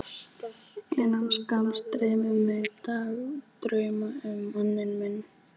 Innan skamms dreymir mig dagdrauma um manninn minn.